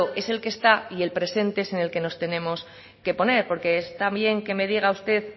es el que está y el presente es el que nos tenemos que poner porque está bien que me diga usted